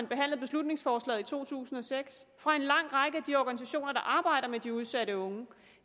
behandlede beslutningsforslaget i to tusind og seks fra en lang række af de organisationer der arbejder med de udsatte unge